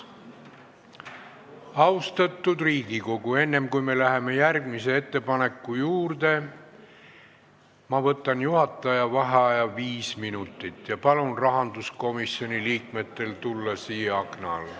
Austatud Riigikogu, enne kui me läheme järgmise ettepaneku juurde, ma võtan juhataja vaheaja viis minutit ja palun rahanduskomisjoni liikmetel tulla siia akna alla.